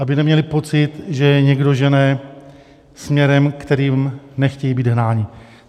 Aby neměli pocit, že je někdo žene směrem, kterým nechtějí být hnáni.